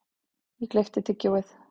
Ég gleypti tyggjóið.